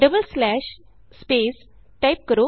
double slash space type ਕਰੋ